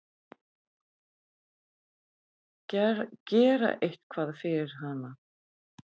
Gera eitthvað fyrir hana.